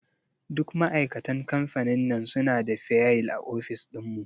Duk ma'aikatan kamfanin nan suna da fayil a ofis ɗin mu.